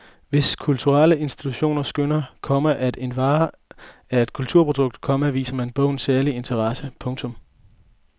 Hvis kulturelle institutioner skønner, komma at en vare er et kulturprodukt, komma viser man bogen særlig interesse. punktum